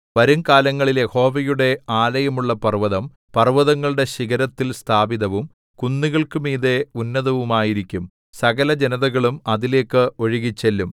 വരും കാലങ്ങളില്‍ യഹോവയുടെ ആലയമുള്ള പർവ്വതം പർവ്വതങ്ങളുടെ ശിഖരത്തിൽ സ്ഥാപിതവും കുന്നുകൾക്കുമീതെ ഉന്നതവുമായിരിക്കും സകലജനതകളും അതിലേക്ക് ഒഴുകിച്ചെല്ലും